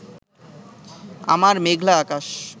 আমার মেঘলা আকাশ